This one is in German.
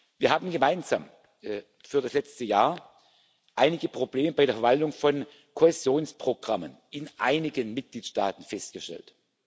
Wir haben gemeinsam für das letzte Jahr einige Probleme bei der Verwaltung von Kohäsionsprogrammen in einigen Mitgliedstaaten festgestellt.